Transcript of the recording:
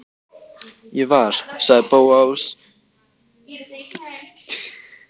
Ég var.- sagði Bóas æstur en þagnaði svo.